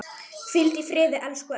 Hvíldu í friði, elsku Elli.